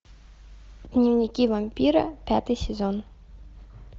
дневники вампира пятый сезон